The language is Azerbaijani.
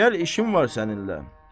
Gəl işin var səninlə.